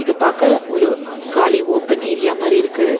இது பாக்க ஒரு காலி ஓபன் ஏரியா மாரி இருக்கு.